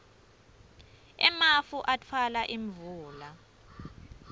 emafu atfwala imvula